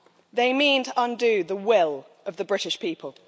They mean to undo the will of the British people.